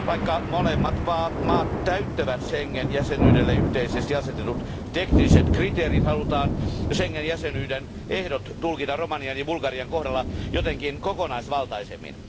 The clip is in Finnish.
Vaikka molemmat maat täyttävät Schengen jäsenyydelle yhteisesti asetetut tekniset kriteerit, halutaan Schengen jäsenyyden ehdot tulkita Romanian ja Bulgarian kohdalla jotenkin kokonaisvaltaisemmin.